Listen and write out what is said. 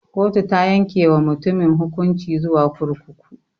Kotu ta yanke wa mutumin hukunci zuwa kurkuku.